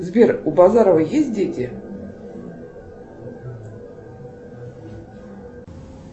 сбер у базарова есть дети